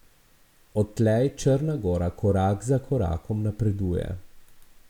Odtlej Črna gora korak za korakom napreduje.